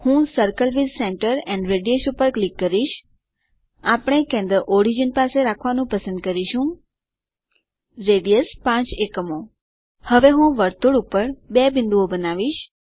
હું circle with centre and radius પર click કરીશ આપણે કેન્દ્ર ઓરીજીન પાસે રાખવાનું પસંદ કરીશું ત્રિજ્યા ૫ એકમો હવે હું બે બિંદુઓ બી અને સી વર્તુળ પર બનાવીશ